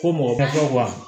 Ko mɔgɔ masaw b'a